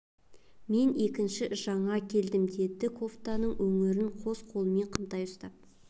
мен екінші жаңа келдім деді кофтаның өңірін қос қолымен қымтай ұстап